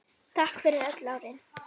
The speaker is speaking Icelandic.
Takk fyrir öll árin.